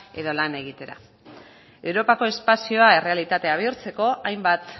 edo lan egitera europako espazioa errealitatea bihurtzeko hainbat